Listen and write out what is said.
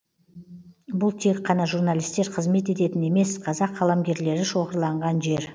бұл тек қана журналистер қызмет ететін емес қазақ қаламгерлері шоғырланған жер